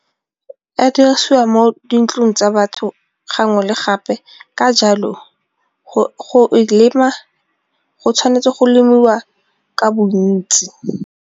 A diriswa mo dintlong tsa batho gangwe le gape ka jalo go e lema go tshwanetse go lemiwa ka bontsi.